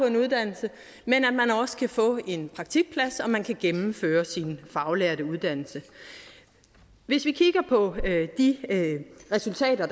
en uddannelse men at man også kan få en praktikplads og at man kan gennemføre sin faglærte uddannelse hvis vi kigger på de resultater